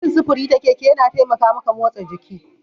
Yin sufuri ta keke yana taimaka maka motsa jiki.